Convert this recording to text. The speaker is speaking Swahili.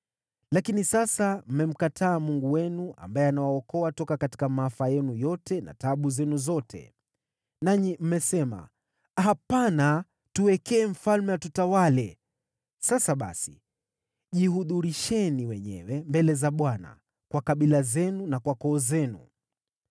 Lakini sasa mmemkataa Mungu wenu, ambaye anawaokoa toka katika maafa yenu yote na taabu zenu zote. Nanyi mmesema, ‘Hapana, tuteulie mfalme atutawale.’ Sasa basi, jihudhurisheni wenyewe mbele za Bwana kwa kabila zenu na kwa koo zenu.”